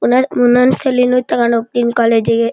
ಒಂದೊಂದ್ ಸಲಿ ನು ತಕಂಡ್ ಹೋಗತೀನಿ ಕಾಲೇಜುಗೆ --